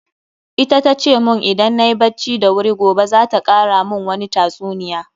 Ita tace mun idan nayi bacci da wuri gobe za ta kara mun wani tatsuniya.